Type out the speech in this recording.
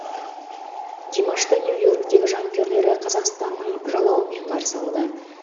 димашты нью иорктегі жанкүйерлері қазақстанның жалауымен қарсы алды